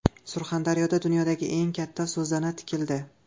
Surxondaryoda dunyodagi eng katta so‘zana tikildi.